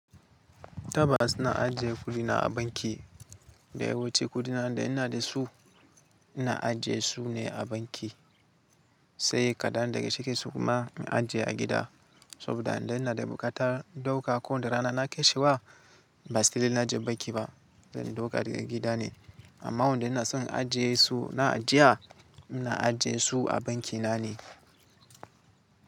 Tabbas ina aje kudi na a banki. Da yawanci kudi na da in da su, in aje su a banki. Sai kadan daga cikin su kuma, in aje a gida. Saboda in dai ina da buƙatar dauka ko da rana na kai shi ba, ba sai da ina jan banki ba, zan dauka daga gida ne. Amma waɗanda na son ajiye su na ajiya, ina ajiye su a banki na ne.